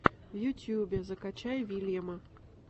в ютубе закачай вильяма